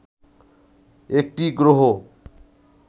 একটি গ্রহ